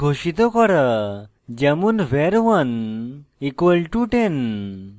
একটি ভ্যারিয়েবল ঘোষিত করা যেমন var 1 = 10